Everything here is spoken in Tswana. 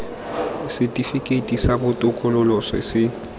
setifikeiti sa botokololo se se